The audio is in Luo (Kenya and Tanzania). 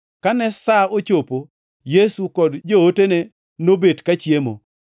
Kane sa ochopo, Yesu kod jootene nobet kachiemo.